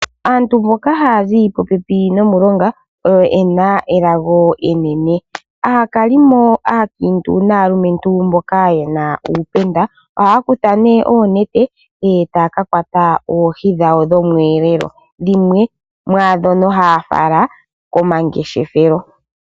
Aantu mboka haya zi popepi nomulonga oyena elago enene. Aakalimo aakiintu naalumentu mboka yena uupenda ohaya kutha oonete etaya kakwata oohi dhawo dhomweelelo, dhimwe mwaandhono haya fala komangeshefelo.